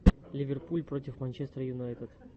ливерпуль против манчестер юнайтед